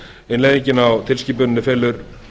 innleiðingin á tilskipuninni felur